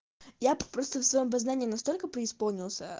я просто в своём познании настолько преисполнился